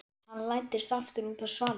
Hann læddist aftur út á svalirnar.